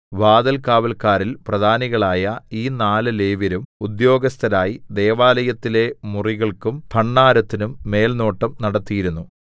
വാതിൽകാവല്ക്കാരിൽ പ്രധാനികളായ ഈ നാല് ലേവ്യരും ഉദ്യോഗസ്ഥരായി ദൈവാലയത്തിലെ മുറികൾക്കും ഭണ്ഡാരത്തിന്നും മേൽനോട്ടം നടത്തിയിരുന്നു